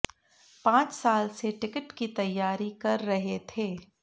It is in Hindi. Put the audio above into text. पांच साल से टिकट की तैयारी कर रहे थे